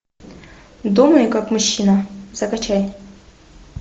думай как мужчина закачай